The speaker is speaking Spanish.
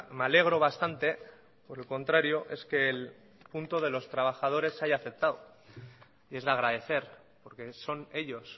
me alegro bastante por el contrario es que el punto de los trabajadores se haya aceptado y es de agradecer porque son ellos